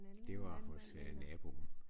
Det var hos øh naboen